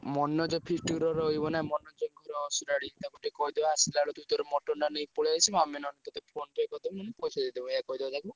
ମନୋଜ ର ଏଇ feast ଅସୁରାଡି ତାକୁ ଟିକେ କହିଦବା ଆସିଲା ବେଳକୁ ତୁ ତୋର mutton ଟା ନେଇ ପଳେଇ ଆସିବୁ ଆମେ ନହେଲେ ତତେ PhonePe କରିଦେମି ପଇସା ଦେଇଦେବ ଏୟା କହିଦବା ତାକୁ।